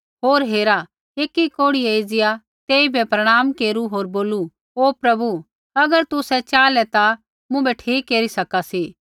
होर हेरा एकी कोढ़ियै एज़िया तेइबै प्रणाम केरू होर बोलू ओ प्रभु अगर तुसै च़ाहलै ता मुँभै ठीक केरी सका सी